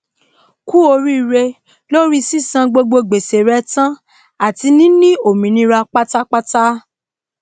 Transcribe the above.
kú oríre lóri sísan gbogbo gbèsè re tán àti níní òmìnira pátápátá